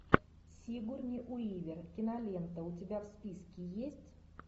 сигурни уивер кинолента у тебя в списке есть